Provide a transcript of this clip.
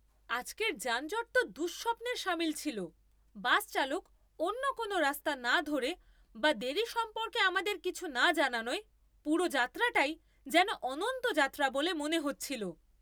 আজকের যানজট তো দুঃস্বপ্নের সামিল ছিল। বাস চালক অন্য কোনও রাস্তা না ধরে বা দেরি সম্পর্কে আমাদের কিছু না জানানোয় পুরো যাত্রাটাই যেন অনন্ত যাত্রা বলে মনে হচ্ছিল!